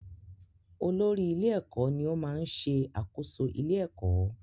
Olórí-ilé-ẹ̀kọ́ ní ó máa ń ṣẹ àkóso ilé-ẹ̀kọ́.